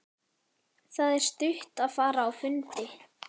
Það er stutt að fara á fundi.